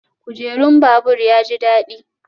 Kujerun babur ya ji daɗi?